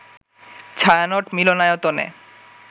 ছায়ানট মিলনায়তনে